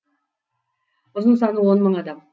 ұзын саны он мың адам